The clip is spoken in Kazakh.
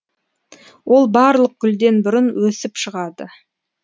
ол барлық гүлден бұрын өсіп шығады